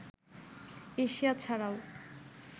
Asia ছাড়াও